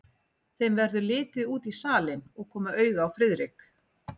Þeim verður litið út í salinn og koma auga á Friðrik.